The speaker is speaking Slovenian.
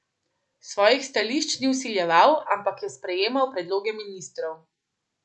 Svojih stališč ni vsiljeval, ampak je sprejemal predloge ministrov.